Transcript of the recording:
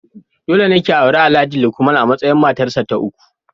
Dole ne ki auri Alhaji Lukman a matsayin matarsa ta uku.